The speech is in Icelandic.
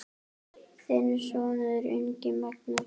Þinn sonur, Ingi Magnús.